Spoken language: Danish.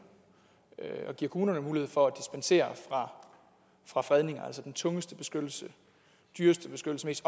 og giver kommunerne mulighed for at dispensere fra fredninger altså den tungeste beskyttelse dyreste beskyttelse mest